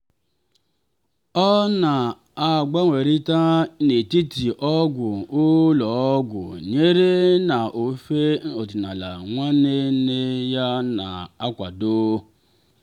ọ na-agbanwerita n'etiti ọgwụ ụlọ ọgwụ nyere na ofe ọdịnala nwanne nne ya na-akwado.